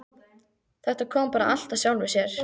Þetta kom bara allt af sjálfu sér.